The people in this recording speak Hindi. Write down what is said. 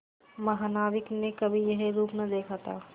महानाविक ने कभी यह रूप न देखा था